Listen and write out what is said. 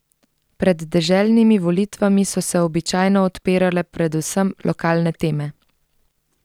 Pred deželnimi volitvami so se običajno odpirale predvsem lokalne teme.